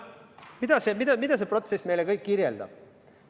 Mida see protsess meile kirjeldab?